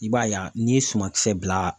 I b'a ye a n'i ye sumankisɛ bila